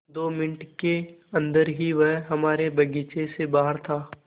दो मिनट के अन्दर ही वह हमारे बगीचे से बाहर था